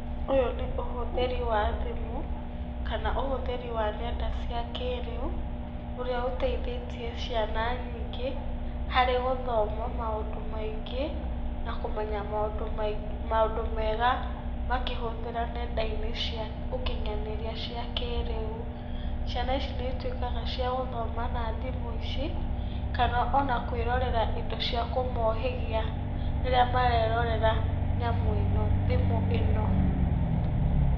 Ũyũ nĩ ũhũthĩri wa thimũ, kana ũhũthĩri wa ngenda cia kĩrĩu, ũrĩa ũteithĩtie ciana nyingĩ harĩ gũthoma maũndũ maingĩ, na kũmenya maũndũ mega makĩhũthĩra ngenda-inĩ cia ũkinyanĩria cia kĩrĩu. Ciana ici nĩ ituĩkaga cia gũthoma na thimũ ici, kana ona kwĩrorera indo cia kũmohĩgia rĩrĩa marerorera nyamũ ĩno, thimũ ino.